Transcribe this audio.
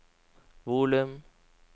volum